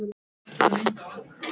Ekki nema þú viljir það.